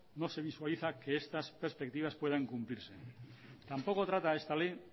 no se visualiza que estas perspectivas puedan cumplirse tampoco trata esta ley